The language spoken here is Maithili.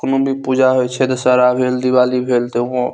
कोनो भी पूजा हुई छे सारा भेल दिवाली भेल तो हो --